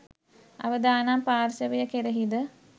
අවදානම් පාර්ශවය කෙරෙහි ද